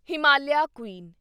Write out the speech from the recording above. Himalayan Queen